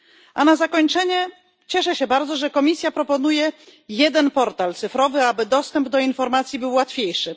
A na zakończenie, cieszę się bardzo, że komisja proponuje jeden portal cyfrowy, aby dostęp do informacji był łatwiejszy.